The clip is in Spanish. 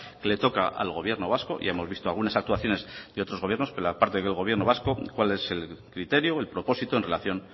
que le toca al gobierno vasco ya hemos visto algunas actuaciones de otros gobiernos pero la parte del gobierno vasco cuál es el criterio o el propósito en relación